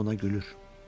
Ona gülür.